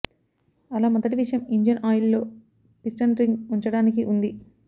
అలా మొదటి విషయం ఇంజన్ ఆయిల్ లో పిస్టన్ రింగ్ ఉంచడానికి ఉంది